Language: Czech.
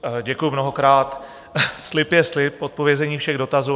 Děkuju mnohokrát, slib je slib, zodpovězení všech dotazů.